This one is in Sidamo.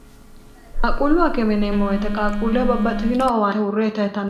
Qaquullu ha kemineemmo weyite qaaquulleo babbaxxitino owaae urre yita yitno